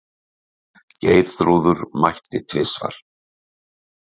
Geirþrúður mætti tvisvar.